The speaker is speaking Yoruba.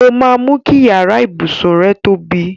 Ó máa mú kí iyàrá ibùsùn rẹ tóbi.